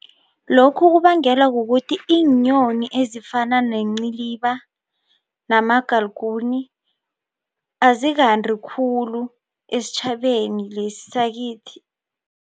Lokhu kubangelwa kukuthi iinyoni ezifana nenciliba nama-galguni azikanti khulu esitjhabeni lesi sakithi.